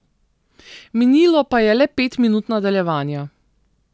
Minilo pa je le pet minut nadaljevanja.